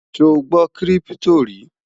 sò gbó kírìpitò rí?